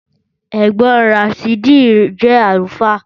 Ẹ̀gbọ́n Ràsídì jẹ́ àlùfáà